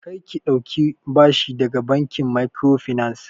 Kar ki ɗauki bashi daga bankin microfinance!